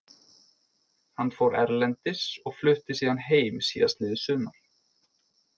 Hann fór erlendis og flutti síðan heim síðastliðið sumar.